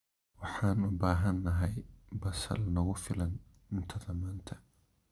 Waxaan u baahanahay basal nagu filan cuntada maanta.